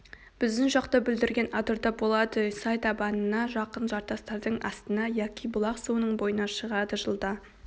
біздің жақта бүлдірген адырда болады сай табанына жақын жартастардың астына яки бұлақ суының бойына шығады жылда